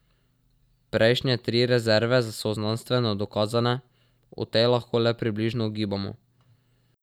Prejšnje tri rezerve so znanstveno dokazane, o tej lahko le približno ugibamo.